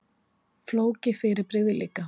Flókið fyrirbrigði líka.